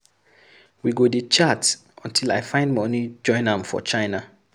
We go dey chat untill I find money join am for China.